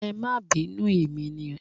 Ẹ máa bínú emi ni.